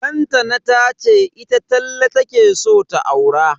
Lantana tace ita Talle take so ta aura.